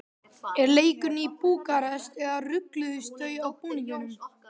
Er leikurinn í Búkarest eða rugluðust þau á búningum?